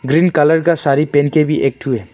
Green colour का सारी पहन के भी एकठो है।